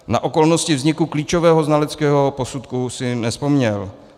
Na okolnosti vzniku klíčového znaleckého posudku si nevzpomněl.